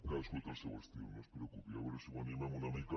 cadascú té el seu estil no es preocupi a veure si ho animem una mica